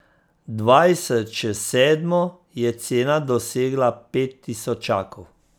Dvajset čez sedmo je cena dosegla pet tisočakov.